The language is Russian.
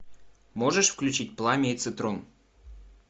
можешь включить пламя и цитрон